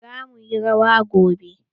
Za muyi rawa gobe.